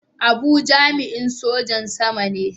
Abu jami'in Sojan Sama ne.